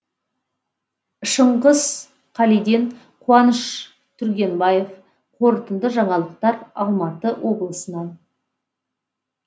шыңғыс қалиден қуаныш түргенбаев қорытынды жаңалықтар алматы облысынан